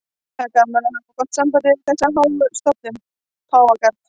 Það er gaman að hafa gott samband við þessa háu stofnun, Páfagarð.